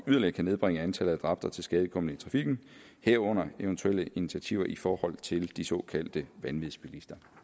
yderligere kan nedbringe antallet af dræbte og tilskadekomne i trafikken herunder eventuelle initiativer i forhold til de såkaldte vanvidsbilister